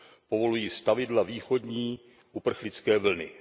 Povolují stavidla východní uprchlické vlny.